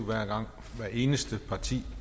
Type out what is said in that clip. hvert eneste parti